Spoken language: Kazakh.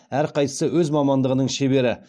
әрқайсысы өз мамандығының шебері